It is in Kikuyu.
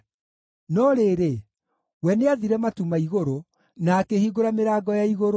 No rĩrĩ, we nĩathire matu ma igũrũ na akĩhingũra mĩrango ya igũrũ;